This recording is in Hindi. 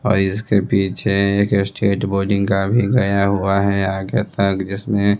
और इसके पीछे एक स्टेट बॉलिंग का भी गया हुआ है आगे तक जिसमें--